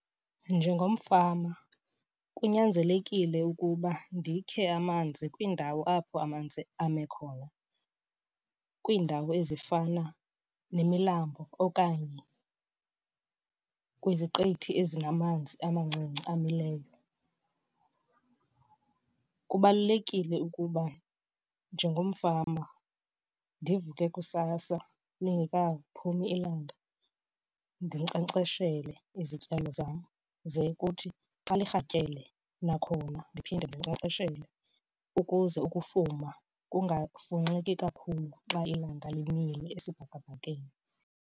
Njengomfama kunyanzelekile ukuba ndikhe amanzi kwiindawo apho amanzi ame khona. Kwiindawo ezifana nemilambo okanye kwiziqithi ezinamanzi amancinci amileyo. Kubalulekile ukuba njengomfama ndivuke kusasa lingekaphumi ilanga ndinkcenkceshele izityalo zam. Ze kuthi xa lirhatyele kwakhona ndiphinde ndinkcenkceshele ukuze ukufuma kungafunxeki kakhulu xa ilanga limile esibhakabhakeni.